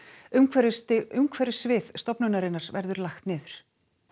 umhverfissvið umhverfissvið stofnunarinnar verður lagt niður